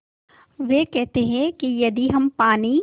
वे कहते हैं कि यदि हम पानी